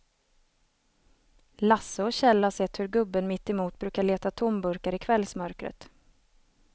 Lasse och Kjell har sett hur gubben mittemot brukar leta tomburkar i kvällsmörkret.